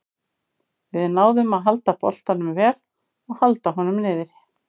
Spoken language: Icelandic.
Við náðum að halda boltanum vel og halda honum niðri.